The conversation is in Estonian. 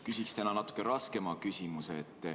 Küsin täna natuke raskema küsimuse.